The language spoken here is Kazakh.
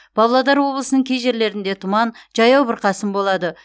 павлодар облысының кей жерлерінде тұман жаяу бұрқасын болады